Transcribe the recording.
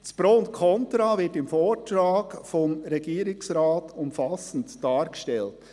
Pro und Contra werden im Vortrag des Regierungsrates umfassend dargestellt.